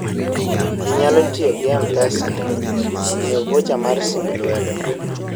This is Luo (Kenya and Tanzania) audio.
ji nyali tiyogi mpesa nyiewo vocha mar simb lwedo